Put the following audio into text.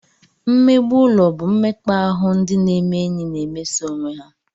Mmegbu ụlọ bụ mmekpa ahụ ndị na-eme enyi na-emeso onwe ha